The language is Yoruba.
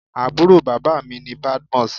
Àbúrò bàbá mi ni Badmus.